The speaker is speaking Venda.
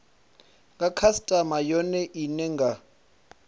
nga khasitama yone ine nga